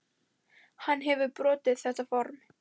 Hann hefur brotið þetta form.